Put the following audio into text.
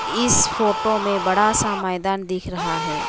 इस फोटो में बड़ा सा मैदान दिख रहा है।